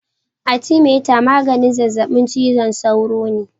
Atimeter magani zazzabin cizon sauro ne.